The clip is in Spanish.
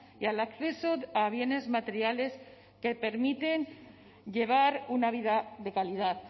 y al acceso a bienes materiales que permiten llevar una vida de calidad